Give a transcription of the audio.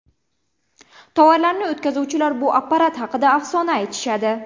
Tovarlarini o‘tkazuvchilar bu apparat haqida afsona aytishadi.